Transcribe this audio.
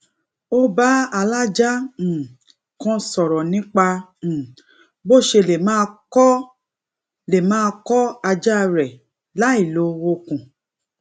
ó bá alaja um kan sòrò nípa um bó ṣe lè máa kó lè máa kó aja re láìlo okun